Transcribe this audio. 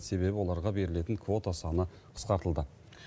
себебі оларға берілетін квота саны қысқартылды